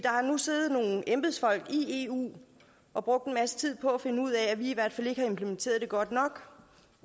har nu siddet nogle embedsfolk i eu og brugt en masse tid på at finde ud af at vi i hvert fald ikke har implementeret det godt nok